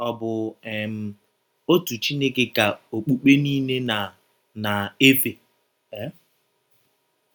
Ọ̀ bụ um ọtụ Chineke ka ọkpụkpe niile na - na - efe um?